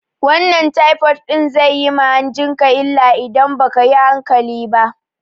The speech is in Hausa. Wannan taifod ɗin zai yi ma hanjin ka illa idan ba kayi hankali ba